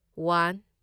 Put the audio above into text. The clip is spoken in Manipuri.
ꯋꯥꯟ